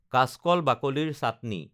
কাচকল বাকলিৰ চাটনি